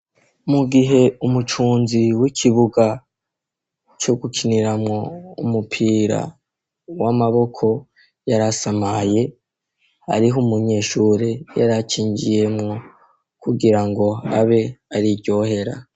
Mugihe umucunzi w'ikibuga co gukiniramwo umupira w'amaboko yarasamaye hariho umunyeshure aho akinjiyemwo kugirango abe ariryohera.